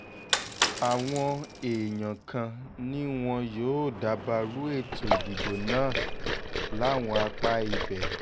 àwọn èèyàn kan ni wọn yóò dabarú ètò ìdìbò náà láwọn apá ibẹ̀